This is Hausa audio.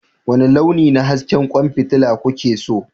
Wani launi na hasken kwan fitila kuke so?